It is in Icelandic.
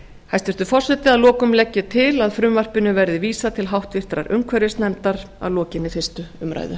hæstvirtur forseti að lokum legg ég til að frumvarpinu verði vísað til háttvirtrar umhverfisnefndar að lokinni fyrstu umræðu